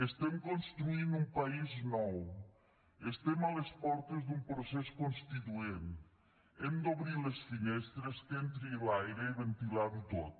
estem construint un país nou estem a les portes d’un procés constituent hem d’obrir les finestres que entri l’aire i ventilar ho tot